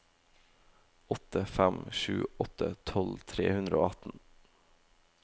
åtte fem sju åtte tolv tre hundre og atten